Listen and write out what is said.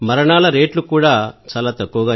మరణాల రేట్లు చాలా తక్కువ